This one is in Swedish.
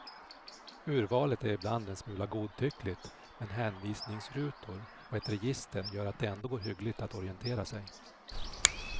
Urvalet är ibland en smula godtyckligt, men hänvisningsrutor och ett register gör att det ändå går hyggligt att orientera sig.